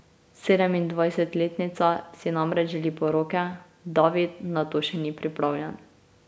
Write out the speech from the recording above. Sedemindvajsetletnica si namreč želi poroke, David na to še ni pripravljen.